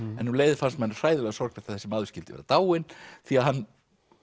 en um leið fannst manni hræðilega sorglegt að þessi maður skyldi vera dáinn því að hann